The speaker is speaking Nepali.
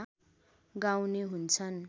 गाउने हुन्छन्